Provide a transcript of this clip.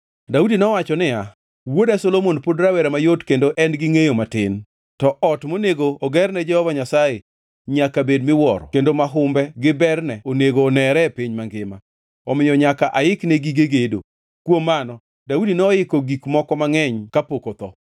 Daudi nowacho niya, “Wuoda Solomon pod rawera mayot kendo en gi ngʼeyo matin, to ot monego ogerne Jehova Nyasaye nyaka bed miwuoro kendo ma humbe gi berne onego onere e piny mangima. Omiyo nyaka aikne gige gedo.” Kuom mano, Daudi noiko gik moko mangʼeny kapok otho.